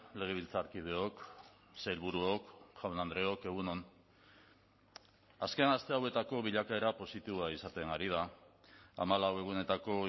legebiltzarkideok sailburuok jaun andreok egun on azken aste hauetako bilakaera positiboa izaten ari da hamalau egunetako